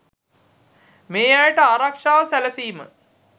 මේ අයට ආරක්‍ෂාව සැලසීම